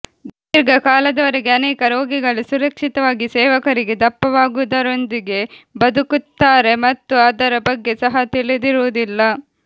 ದೀರ್ಘಕಾಲದವರೆಗೆ ಅನೇಕ ರೋಗಿಗಳು ಸುರಕ್ಷಿತವಾಗಿ ಸೇವಕರಿಗೆ ದಪ್ಪವಾಗುವುದರೊಂದಿಗೆ ಬದುಕುತ್ತಾರೆ ಮತ್ತು ಅದರ ಬಗ್ಗೆ ಸಹ ತಿಳಿದಿರುವುದಿಲ್ಲ